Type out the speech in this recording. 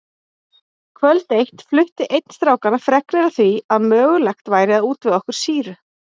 Kvöld eitt flutti einn strákanna fregnir af því að mögulegt væri að útvega okkur sýru.